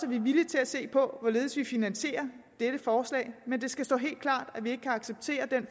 vi er villige til at se på hvorledes vi finansierer dette forslag men det skal stå helt klart at vi ikke kan acceptere den